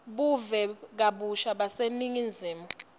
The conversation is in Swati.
buve kabusha baseningizimu